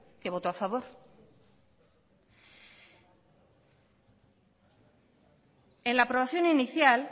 que votó a favor en la aprobación inicial